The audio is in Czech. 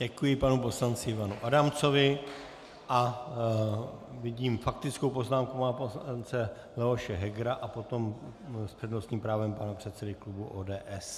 Děkuji panu poslanci Ivanu Adamcovi a vidím faktickou poznámku pana poslance Leoše Hegera a potom s přednostním právem pana předsedy klubu ODS.